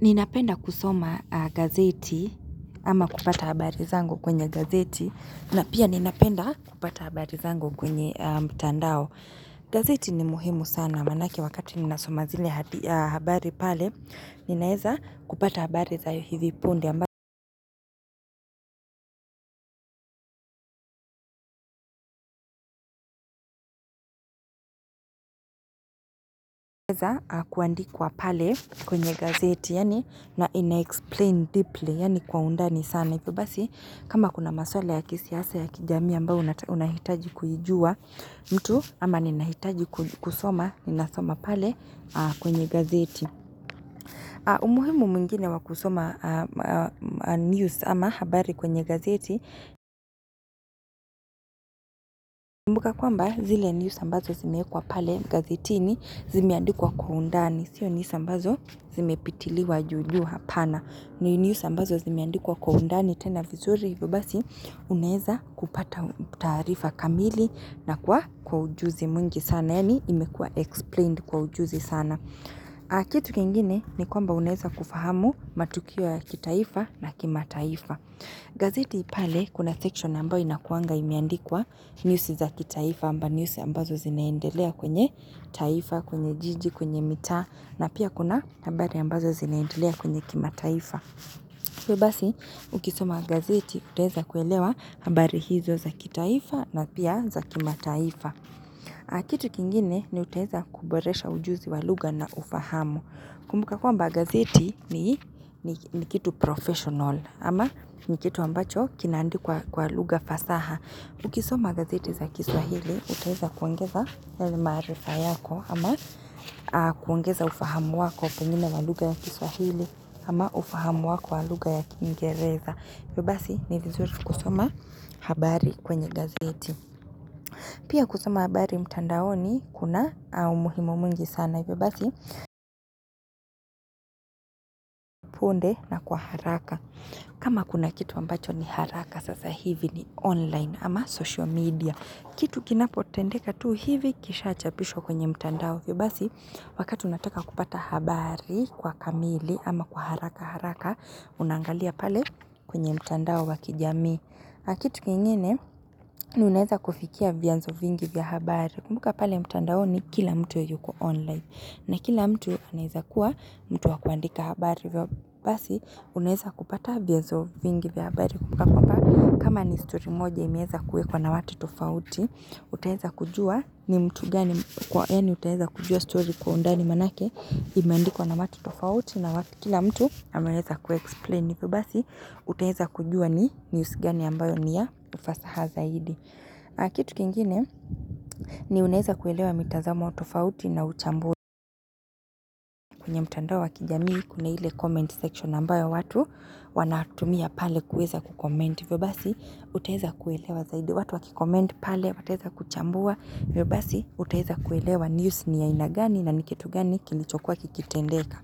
Ninapenda kusoma gazeti ama kupata habari zangu kwenye gazeti na pia ninapenda kupata habari zangu kwenye mtandao. Gazeti ni muhimu sana manake wakati ninasoma zile habari pale ninaeza kupata habari za hivi punde ambayo inaeza kuandikwa pale kwenye gazeti yaani na inaexplain deeply yaani kwa undani sana. Na hivyo basi, kama kuna maswala ya kisiasa ya kijami ambao unahitaji kujua mtu, ama ninahitaji kusoma, ninasoma pale kwenye gazeti. Umuhimu mwingine wa kusoma news ama habari kwenye gazeti, kumbuka kwamba zile news ambazo zimeekwa pale gazetini zimeandikwa kwa undani. Sio nisa mbazo zimepitiliwa juju hapana ni news ambazo zimeandikwa kwa undani tena vizuri Hivyo basi unaeza kupata taarifa kamili na kwa ujuzi mwingi sana Yaani imekua explained kwa ujuzi sana kitu kingine ni kwamba unaeza kufahamu matukio ya kitaifa na kimataifa gazeti pale kuna section ambao inakuanga imeandikwa news za kitaifa amba news ambazo zinaendelea kwenye taifa, kwenye jiji, kwenye mitaa na pia kuna habari ambazo zinaendelea kwenye kimataifa so basi ukisoma gazeti utaeza kuelewa nambari hizo za kitaifa na pia za kimataifa kitu kingine ni utaeza kuboresha ujuzi wa lugha na ufahamu kumbuka kwamba gazeti ni kitu professional ama ni kitu ambacho kinaandikwa lugha fasaha Ukisoma gazeti za kiswahili, utaweza kuongeza yale marifa yako ama kuongeza ufahamu wako pungine waluga ya kiswahili ama ufahamu wako waluga ya kingereza. Ibebasi ni vizuri kusoma habari kwenye gazeti. Pia kusoma habari mtandaoni, kuna umuhimo mungi sana. Ibebasi, punde na kwa haraka. Kama kuna kitu ambacho ni haraka, sasa hivi ni online ama social media. Kitu kinapo tendeka tu hivi kisha chapisho kwenye mtandao vyo basi wakati unataka kupata habari kwa kamili ama kwa haraka haraka unangalia pale kwenye mtandao wakijami. Kitu kiengene uneza kufikia vya nzo vingi vya habari kumbuka pale mtandao ni kila mtu yuko online na kila mtu aneza kuwa mtu wa kuandika habari vyo basi uneza kupata vya nzo vingi vya habari kumbuka kwa pa kama ni sturi moja imeza kue kwa na watu tofauti. Uteheza kujua ni mtu gani kwa eni uteheza kujua story kwa undani manake imendiko na matu tofauti na wakikila mtu amereza kuexplain vio basi uteheza kujua ni news gani ambayo ni ya ufasaha zaidi. Akitu kingine ni unaeza kuelewa mitazamo tofauti na uchambue ya mtandao wa kijamii kuna hile comment section ambayo watu wanatumia pale kueza kukomment vio basi uteheza kuelewa zaidi. Watu wakikomend pale wateza kuchambua yobasi utahiza kuelewa news ni ya inagani na nikitu gani kilichokuwa kikitendeka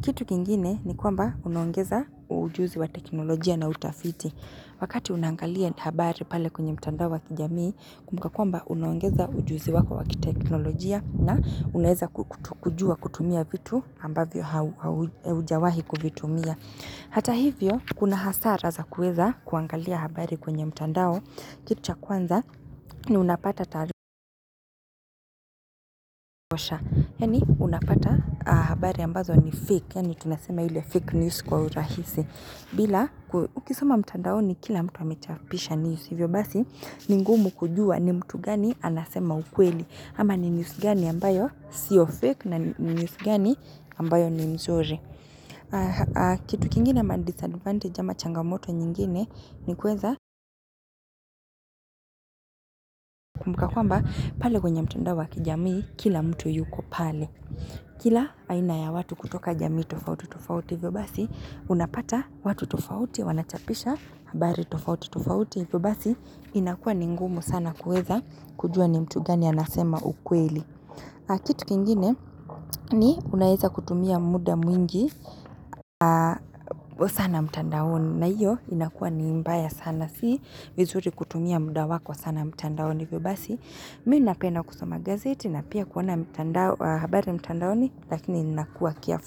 kitu kingine ni kwamba unongeza ujuzi wa teknolojia na utafiti wakati unangalia habari pale kwenye mtandao wakijami kumka kwamba unongeza ujuzi wako wakiteknolojia na unaheza kujua kutumia vitu ambavyo ujawahi kuvitumia hata hivyo kuna hasara za kueza kuangalia habari kwenye mtandao Kitu cha kwanza ni unapata tarikosha Yani unapata habari ambazo ni fake Yani tunasema yule fake news kwa urahisi bila ukisoma mtandaoni kila mtu wamechapisha niusivyo basi ningumu kujua ni mtu gani anasema ukweli Ama ni news gani ambayo siyo fake na news gani ambayo ni mzore Kitu kingine ma disadvantage ama changamoto nyingine ni kweza Kwa kwamba pale kwenye mtandawa kijamii kila mtu yuko pale Kila aina ya watu kutoka jamii tofauti tofauti vyo basi Unapata watu tofauti wanachapisha habari tofauti tofauti vyo basi inakua ni ngumu sana kueza kujua ni mtu gani anasema ukweli Kitu kingine ni unaeza kutumia muda mwingi sana mtandawoni na iyo inakua ni mbaya sana si mizuri kutumia muda wako sana mtandawoni vyo basi Minu napena kusama gazeti na pia kuona habari mtandaoni lakini nakuwa kiafu.